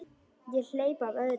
Ég hleypti af öðru skoti.